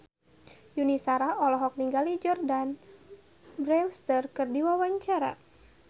Yuni Shara olohok ningali Jordana Brewster keur diwawancara